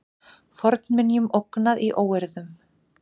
Fornminjum ógnað í óeirðunum